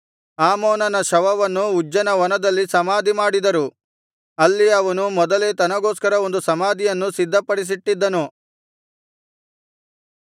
ಆಮೋನನ ಶವವನ್ನು ಉಜ್ಜನ ವನದಲ್ಲಿ ಸಮಾಧಿಮಾಡಿದರು ಅಲ್ಲಿ ಅವನು ಮೊದಲೇ ತನಗೋಸ್ಕರ ಒಂದು ಸಮಾಧಿಯನ್ನು ಸಿದ್ಧಪಡಿಸಿಟ್ಟಿದ್ದನು